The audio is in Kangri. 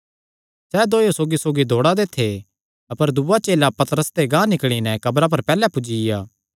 सैह़ दोयो सौगीसौगी दौड़ा दे थे अपर दूआ चेला पतरस ते गांह निकल़ी नैं क्रबा पर पैहल्लैं पुज्जिया